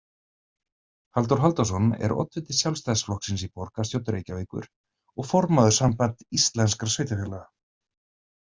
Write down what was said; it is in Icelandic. Halldór Halldórsson er oddviti Sjálfstæðisflokksins í borgarstjórn Reykjavíkur og formaður Sambands íslenskra sveitarfélaga.